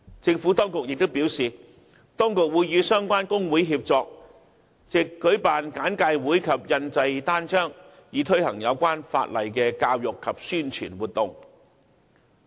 政府當局亦表示，當局會與相關工會協作，藉舉辦簡介會及印製單張，推行有關法例的教育及宣傳活動。